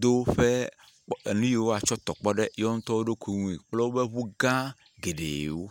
do woƒu nu yiwo woatsɔ tɔ kpɔ ɖe wo ŋutɔ woɖokui ŋue kple woƒe ŋu fã geɖewo.